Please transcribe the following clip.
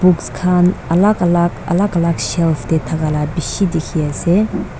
books khan alak alak alak alak shelf tae thakala bishi dikhiase.